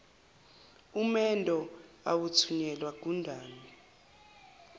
umendo awuthunyelwa gundane